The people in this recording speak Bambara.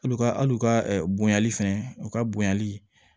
Hali u ka hal'u ka bonyali fɛnɛ u ka bonyali